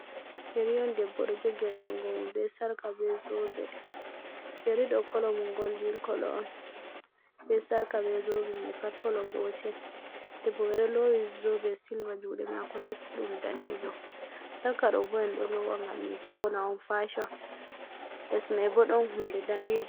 Yeri on debbo ɗo jogi ha jungomum yeri ɗo kolomun goldin kolo on be sarka be zobe mai pat kolo gotel debbo man ɗo lowi zobe silva juɗe mako tekkuɗum danejo, sarka ɗo bo’en ɗo lowa ngam min fauna on fashion lesmai bo ɗon hunde danejum.